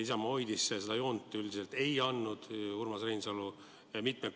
Isamaa hoidis seda joont, et neile kodakondsust üldiselt ei antud.